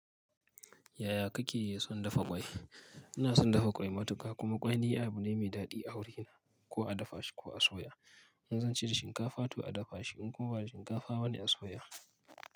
Yaya kake son dafa kwai? Ina son dafa ƙwai matuka kuma ƙwai ni abu ne mai daɗi a wurina ko a dafa shi ko a soya. In zan ci da shinkafa to a dafa shi in kuwa ba da shinkafa bane a soya.